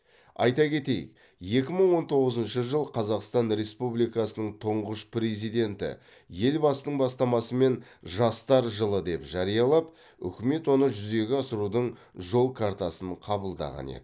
айта кетейік екі мың он тоғызыншы жыл қазақстан республикасының тұңғыш президенті елбасының бастамасымен жастар жылы деп жариялап үкімет оны жүзеге асырудың жол картасын қабылдаған еді